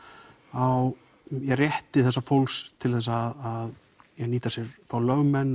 á rétti þessa fólks til þess að nýta sér fá lögmenn